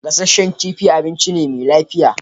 Gassashen kifi abinci ne me lafiya